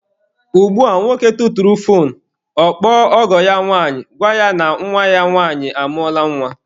Ugbua bụ nwoke tụtụrụ foonu, ọ kpọọ ọgọ ya nwanyị, gwa ya na nwa ya nwanyị amụọla nwa.